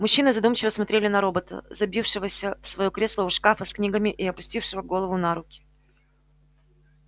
мужчины задумчиво смотрели на робота забившегося в своё кресло у шкафа с книгами и опустившего голову на руки